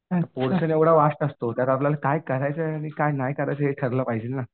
Portion एवढा vast असतो त्यात आपल्याला काय करायचे आणि काय नाही करायचे हे ठरलं पाहिजे ना.